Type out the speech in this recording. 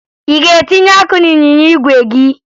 Ị ga-etinye ọkụ n'ịnyịnya igwe gị?